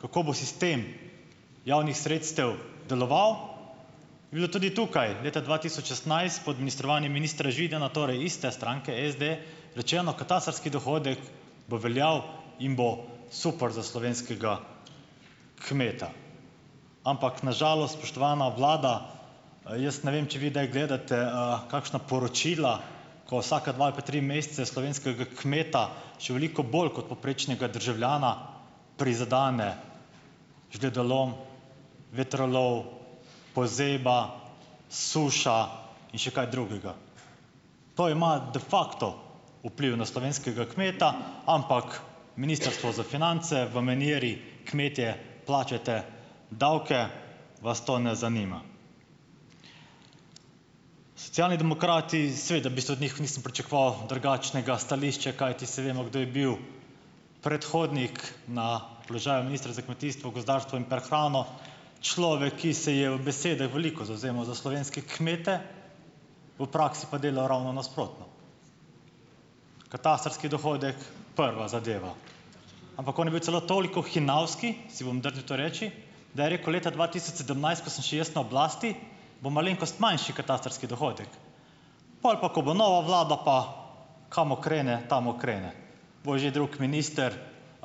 kako bo sistem javnih sredstev deloval, je bilo tudi tukaj leta dva tisoč šestnajst pod ministrovanjem ministra Židana, torej iste stranke SD, rečeno, katastrski dohodek bo veljal in bo super za slovenskega kmeta. Ampak na žalost, spoštovana vlada, jaz ne vem, če vi kdaj gledate kakšna poročila, ko vsaka dva ali pa tri mesece slovenskega kmeta še veliko bolj kot povprečnega državljana prizadene žledolom, vetrolov, pozeba, suša in še kaj drugega. To ima de facto vpliv na slovenskega kmeta, ampak Ministrstvo za finance v maniri, kmetje, plačajte davke, vas to ne zanima. Socialni demokrati, seveda, v bistvu od njih nisem pričakoval drugačnega stališča, kajti, saj vemo, kdo je bil predhodnik na položaju ministra za kmetijstvo, gozdarstvo in prehrano. Človek, ki se je v besedah veliko zavzemal za slovenske kmete, v praksi pa delal ravno nasprotno. Katastrski dohodek, prva zadeva. Ampak on je bil celo toliko hinavski, si bom drznil to reči, da je rekel leta dva tisoč sedemnajst, ko sem še jaz na oblasti, bo malenkost manjši katastrski dohodek, pol pa, ko bo nova vlada pa, kam krene, tam krene. Bo že drugi minister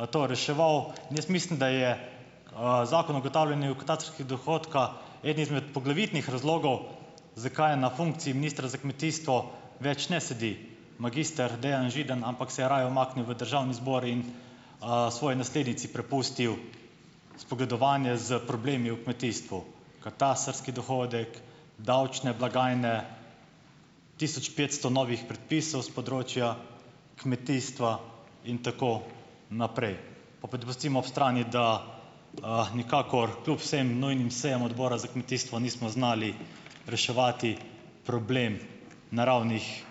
to reševal. In jaz mislim, da je Zakon o ugotavljanju katastrskega dohodka eden izmed poglavitnih razlogov, zakaj je na funkciji ministra za kmetijstvo več ne sedi magister Dejan Židan, ampak se je raje umaknil v Državni zbor in svoji naslednici prepustil spogledovanje s problemi v kmetijstvu. Katastrski dohodek, davčne blagajne, tisoč petsto novih predpisov s področja kmetijstva in tako naprej. Pa pa da pustimo od strani, da nikakor kljub vsem nujnim sejam Odbora za kmetijstvo nismo znali reševati problem naravnih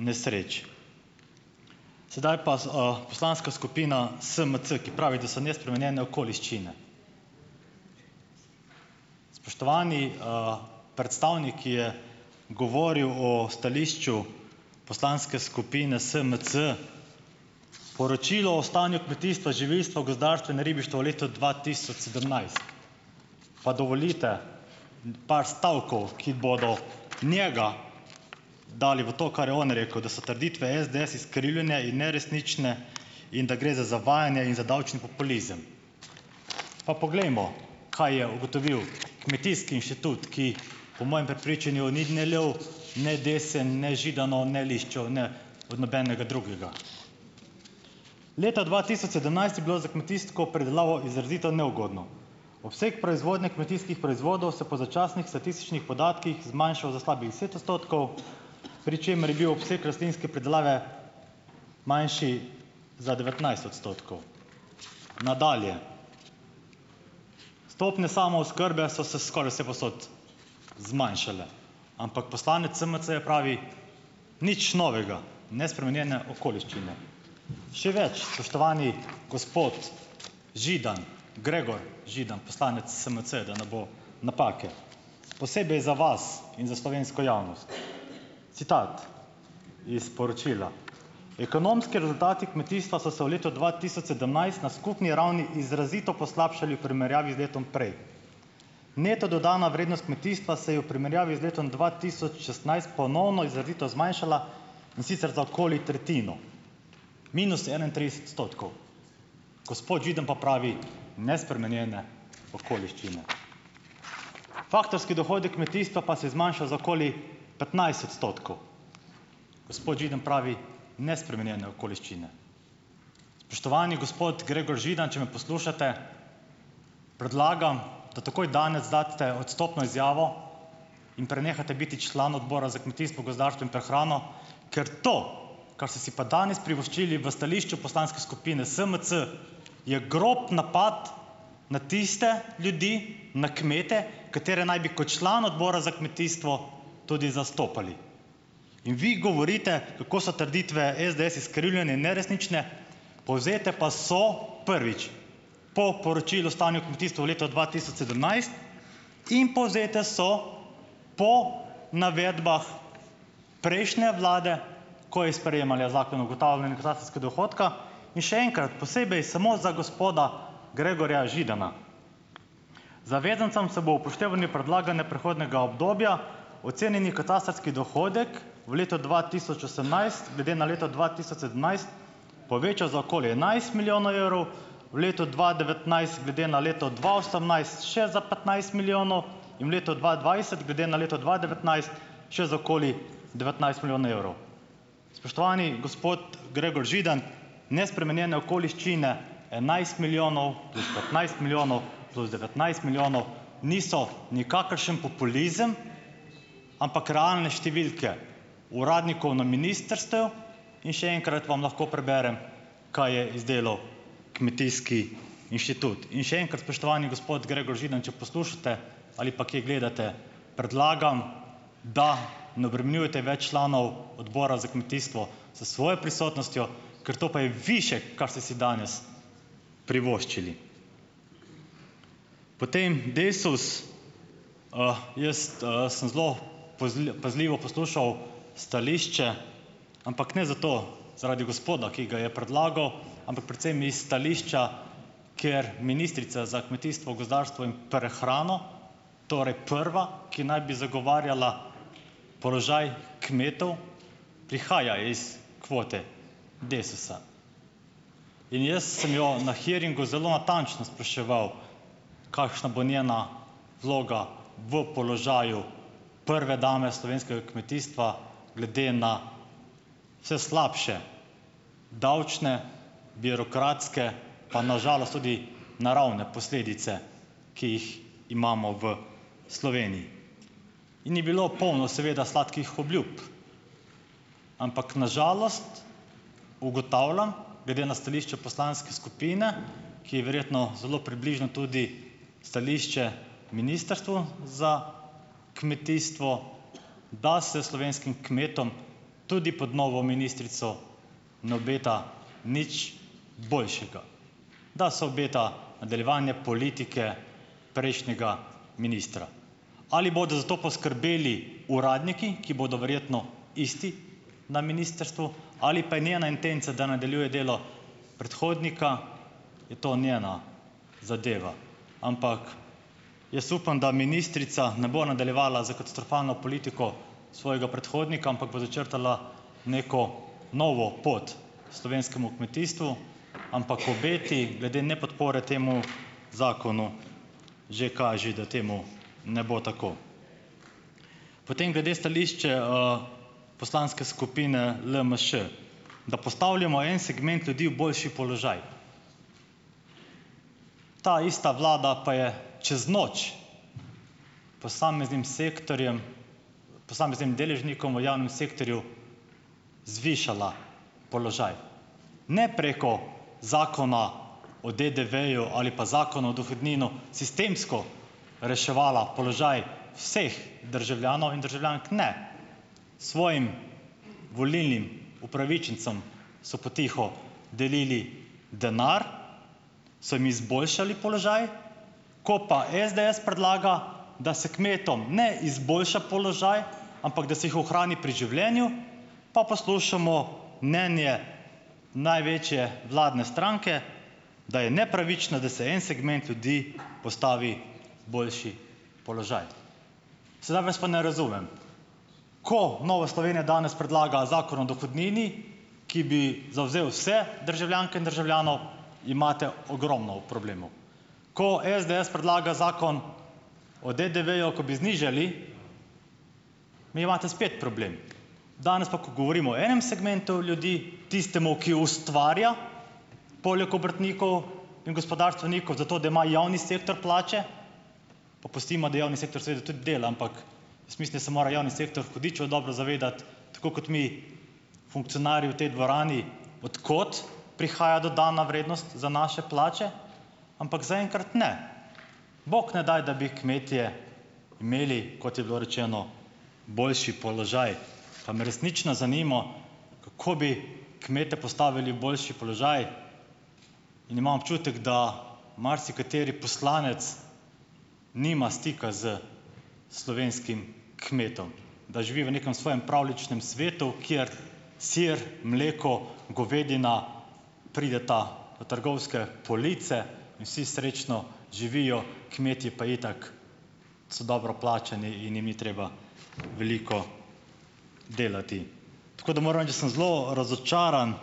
nesreč. Sedaj pa Poslanska skupina SMC, ki pravi, da so nespremenjene okoliščine. Spoštovani, predstavnik je govoril o stališču Poslanske skupine SMC, poročilo o stanju kmetijstva, živilstva, gozdarstva in ribištva v letu dva tisoč sedemnajst, pa dovolite par stavkov, ki bodo njega dali v to, kar je on rekel, da so trditve SDS izkrivljene in neresnične, in da gre za zavajanje in za davčni populizem. Pa poglejmo, kaj je ugotovil kmetijski inštitut, ki po mojem prepričanju ni ne lev ne desen ne Židanov ne Liščev ne od nobenega drugega. Leta dva tisoč sedemnajst je bilo za kmetijsko predelavo izrazito neugodno, obseg proizvodnje kmetijskih proizvodov se po začasnih statističnih podatkih zmanjšal za slabih deset odstotkov, pri čemer je bil obseg rastlinske pridelave manjši za devetnajst odstotkov. Nadalje. Stopnje samooskrbe so se skoraj vsepovsod zmanjšale, ampak poslanec SMC-ja pravi, nič novega, nespremenjene okoliščine. Še več, spoštovani gospod Židan, Gregor Židan, poslanec SMC-ja, da ne bo napake, posebej za vas in za slovensko javnost, citat iz poročila: "Ekonomski rezultati kmetijstva so se v letu dva tisoč sedemnajst na skupni ravni izrazito poslabšali v primerjavi z letom prej. Neto dodana vrednost kmetijstva se je v primerjavi z letom dva tisoč šestnajst ponovno izrazito zmanjšala, in sicer za okoli tretjino, minus enaintrideset odstotkov." Gospod Židan pa pravi, nespremenjene okoliščine. Faktorski dohodek kmetijstva pa se je zmanjšal za okoli petnajst odstotkov. Gospod Židan pravi nespremenjene okoliščine. Spoštovani gospod Gregor Židan, če me poslušate, predlagam, da takoj danes daste odstopno izjavo in prenehate biti član Odbora za kmetijstvo, gozdarstvo in prehrano, ker to, kar ste si pa danes privoščili v stališču Poslanske skupine SMC, je grob napad na tiste ljudi, na kmete, katere naj bi kot član odbora za kmetijstvo tudi zastopali. In vi govorite, kako so trditve SDS izkrivljene in neresnične, povzete pa so, prvič, po poročilu stanju kmetijstva v leto dva tisoč sedemnajst in povzete so po navedbah prejšnje vlade, ko je sprejemala zakon o ugotavljanju katastrskega dohodka. In še enkrat, posebej samo za gospoda Gregorja Židana, zavezancem se bo ob upoštevanju predlagane prehodnega obdobja ocenjeni katastrski dohodek v letu dva tisoč osemnajst glede na leto dva tisoč sedemnajst poveča za okoli enajst milijonov evrov, v letu dva devetnajst glede na leto dva osemnajst še za petnajst milijonov in v letu dva dvajset glede na leto dva devetnajst še za okoli devetnajst milijonov evrov. Spoštovani gospod Gregor Židan, nespremenjene okoliščine, enajst milijonov do petnajst milijonov do devetnajst milijonov niso nikakršen populizem, ampak realne številke uradnikov na ministrstev, in še enkrat vam lahko preberem, kaj je izdelal kmetijski inštitut. In še enkrat, spoštovani gospod Gregor Židan, če poslušate ali pa kje gledate, predlagam, da ne obremenjujete več članov Odbora za kmetijstvo s svojo prisotnostjo, ker to pa je višek, kar ste si danes privoščili. Potem Desus. Jaz sem zelo pazljivo poslušal stališče, ampak ne zato, zaradi gospoda, ki ga je predlagal, ampak predvsem iz stališča ker ministrica za kmetijstvo, gozdarstvo in prehrano, torej prva, ki naj bi zagovarjala položaj kmetov, prihaja iz kvote Desusa. In jaz sem jo na hearingu zelo natančno spraševal, kakšna bo njena vloga v položaju prve dame slovenskega kmetijstva glede na vse slabše davčne, birokratske pa na žalost tudi naravne posledice, ki jih imamo v Sloveniji. Ini bilo polno seveda sladkih obljub, ampak na žalost, ugotavljam, glede na stališče Poslanske skupine, ki je verjetno zelo približno tudi stališče Ministrstvu za kmetijstvo, da se slovenskim kmetom tudi pot novo ministrico ne obeta nič boljšega, da se obeta nadaljevanje politike prejšnjega ministra. Ali bodo za to poskrbeli uradniki, ki bodo verjetno isti na ministrstvu, ali pa je njena intenca, da nadaljuje delo predhodnika, je to njena zadeva. Ampak jaz upam, da ministrica ne bo nadaljevanja s katastrofalno politiko svojega predhodnika, ampak bo začrtala neko novo pot slovenskemu kmetijstvu. Ampak obeti, glede nepodpore temu zakonu, že kažejo, da temu ne bo tako. Potem glede stališče Poslanske skupine LMŠ, da postavljamo en segment ljudi v boljši položaj. Ta ista vlada pa je čez noč posameznim sektorjem, posameznim deležnikom v javnem sektorju zvišala položaj, ne preko Zakona o DDV-ju ali pa Zakona o dohodnino, sistemsko reševala položaj vseh državljanov in državljank - ne, svojim volilnim upravičencem so potiho delili denar, so jim izboljšali položaj, ko pa SDS predlaga, da se kmetom ne izboljša položaj, ampak da se jih ohrani pri življenju, pa poslušamo mnenje največje vladne stranke, da je nepravično, da se en segment ljudi postavi boljši položaj. Sedaj vas pa ne razumem - ko Nova Slovenija danes predlaga Zakon o dohodnini, ki bi zavzel vse državljanke in državljanov, imate ogromno problemov. Ko SDS predlaga Zakon o DDV-ju, ko bi znižali, imate spet problem. Danes pa, ko govorimo o enem segmentu ljudi, tistemu, ki ustvarja, poleg obrtnikov in gospodarstvenikov, zato da ima javni sektor plače - pa pustimo, da javni sektor seveda tudi dela, ampak jaz mislim, da se mora javni sektor hudičevo dobro zavedati, tako kot mi, funkcionarji v tej dvorani, od kot prihaja dodana vrednost za naše plače. Ampak zaenkrat ne, bog ne daj, da bi kmetje imeli, kot je bilo rečeno, boljši položaj. Pa me resnično zanimalo, kako bi kmete postavili v boljši položaj. In imam občutek, da marsikateri poslanec nima stika s slovenskim kmetom, da živi v nekem svojem pravljičnem svetu, kjer sir, mleko, govedina prideta v trgovske police in vsi srečno živijo, kmetje pa itak so dobro plačani in jim ni treba veliko delati. Tako da moram reči, da sem zelo razočaran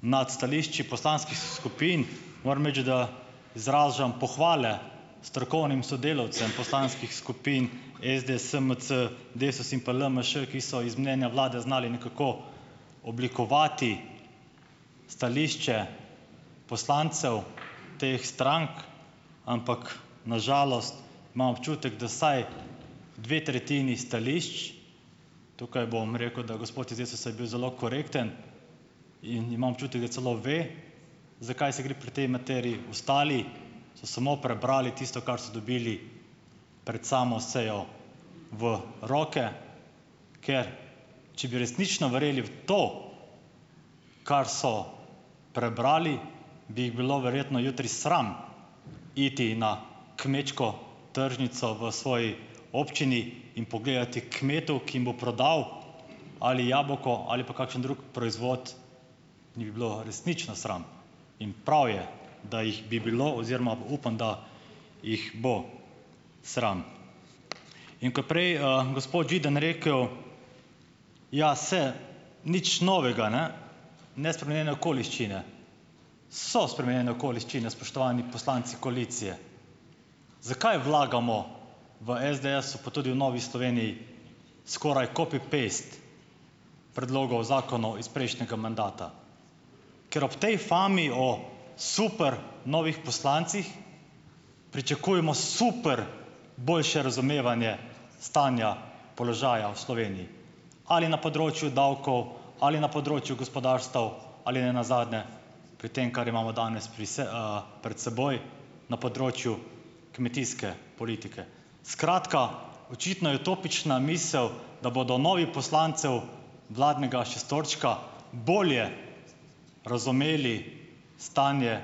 nad stališči poslanskih skupin. Moram reči, da izražam pohvale strokovnim sodelavcem poslanskih skupin SD, SMC, Desus in pa LMŠ, ki so iz mnenja vlade znale nekako oblikovati stališče poslancev teh strank, ampak na žalost imam občutek, da vsaj dve tretjini stališč - tukaj bom rekel, da gospod iz Desusa je bil zelo korekten, in imam občutek, da celo ve, za kaj se gre pri tej materiji, ostali so samo prebrali tisto, kar so dobili pred samo sejo v roke. Ker če bi resnično verjeli v to, kar so prebrali, bi jih bilo verjetno jutri sram iti na kmečko tržnico v svoji občini in pogledati kmetu, ki jim bo prodal ali jabolko ali pa kakšen drug proizvod, jih bi bilo resnično sram. In prav je, da jih bi bilo, oziroma upam, da jih bo sram. In ko je prej, gospod Židan, rekel: "Ja, se, nič novega, ne, nespremenjene okoliščine." So spremenjene okoliščine, spoštovani poslanci koalicije. Zakaj vlagamo v SDS-u, pa tudi v Novi Sloveniji skoraj copy paste predlogov zakonov iz prejšnjega mandata - ker ob tej fami o super novih poslancih pričakujemo super boljše razumevanje stanja položaja v Sloveniji. Ali na področju davkov ali na področju gospodarstev ali nenazadnje pri tem, kar imamo danes pri pred seboj, na področju kmetijske politike. Skratka, očitno je utopična misel, da bodo novi poslancev vladnega šestorčka bolje razumeli stanje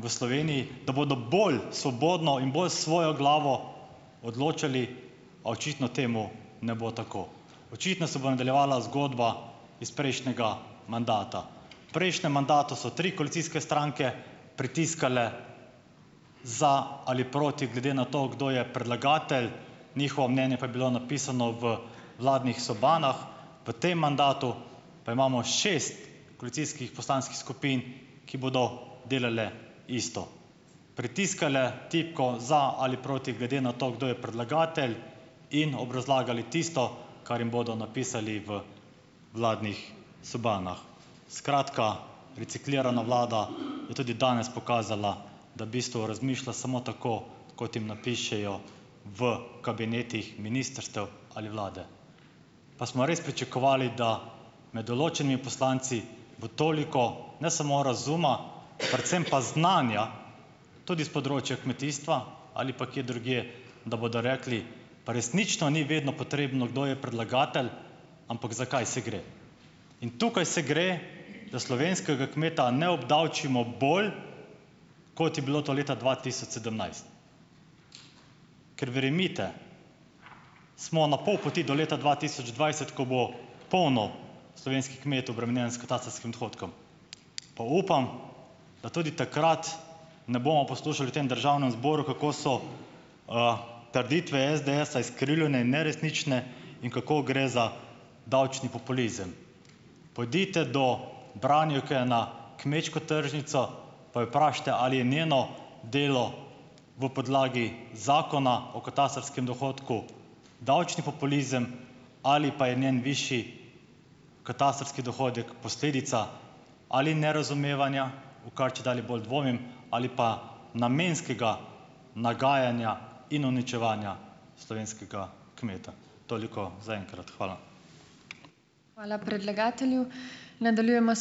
v Sloveniji. Da bodo bolj svobodno in bolj s svojo glavo odločali - a očitno temu ne bo tako. Očitno se bo nadaljevala zgodba iz prejšnjega mandata. Prejšnjem mandatu so tri koalicijske stranke pritiskale za ali proti, glede na to, kdo je predlagatelj, njihovo mnenje pa je bilo napisano v vladnih sobanah. V tem mandatu pa imamo šest koalicijskih poslanskih skupin, ki bodo delale isto. Pritiskale tipko za ali proti glede na to, kdo je predlagatelj, in obrazlagali tisto, kar jim bodo napisali v vladnih sobanah. Skratka, reciklirana vlada je tudi danes pokazala, da bistvu razmišlja samo tako, kot jim napišejo v kabinetih ministrstev ali vlade. Pa smo res pričakovali, da med določenimi poslanci bo toliko - ne samo razuma, predvsem pa znanja - tudi s področja kmetijstva ali pa kje drugje, da bodo rekli - resnično ni vedno potrebno, kdo je predlagatelj, ampak za kaj se gre. In tukaj se gre, da slovenskega kmeta ne obdavčimo bolj, kot je bilo to leta dva tisoč sedemnajst. Ker, verjemite, smo na pol poti do leta dva tisoč dvajset, ko bo polno slovenskih kmetov obremenjeno s katastrskim dohodkom. Pa upam, da tudi takrat ne bomo poslušali v tem državnem zboru, kako so trditve SDS-a izkrivljene in neresnične in kako gre za davčni populizem. Pojdite do branjevke na kmečko tržnico pa jo vprašajte, ali je njeno delo v podlagi Zakona o katastrskem dohodku davčni populizem ali pa je njen višji katastrski dohodek posledica ali nerazumevanja, v kar čedalje bolj dvomim, ali pa namenskega nagajanja in uničevanja slovenskega kmeta. Toliko zaenkrat. Hvala.